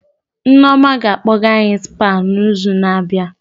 Nneoma ga-akpọga any Spa na izu na abịa